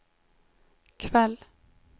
kväll